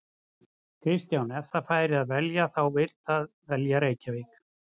Kristján: Ef það fær að velja þá vill það velja Reykjavík?